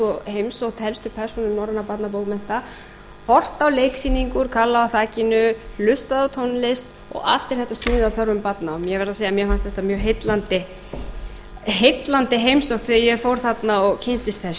og heimsótt helstu persónur norrænna barnabókmennta horft á leiksýningu kalla á þakinu hlustað á tónlist og allt er þetta sniðið að þörfum barna ég verð að segja að mér fannst þetta mjög heillandi heimsókn þegar ég fór þarna og kynntist þessu þetta var